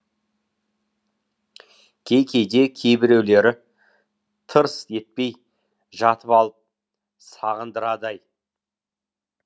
кей кейде кейбіреулері тырс етпей жатып алып сағындырады ай